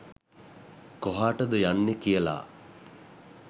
කොහාටද යන්නේ කියලා.